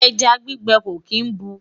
ẹja gbígbẹ kò kín bù